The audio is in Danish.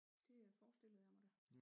Det forestillede jeg mig da